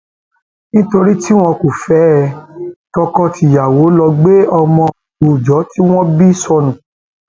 nítorí tí wọn kò fẹ ẹ tọkọtìyàwó lọọ gbé ọmọ òòjọ tí wọn bí sọnù